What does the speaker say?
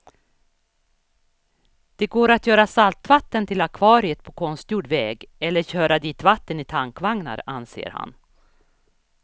Det går att göra saltvatten till akvariet på konstgjord väg eller köra dit vatten i tankvagnar, anser han.